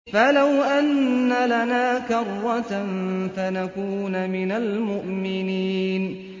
فَلَوْ أَنَّ لَنَا كَرَّةً فَنَكُونَ مِنَ الْمُؤْمِنِينَ